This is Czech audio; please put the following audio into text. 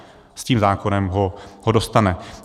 S tím zákonem ho dostane.